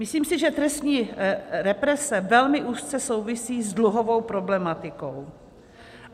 Myslím si, že trestní represe velmi úzce souvisí s dluhovou problematikou.